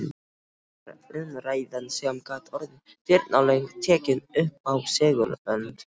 Síðan var umræðan, sem gat orðið firnalöng, tekin uppá segulbönd.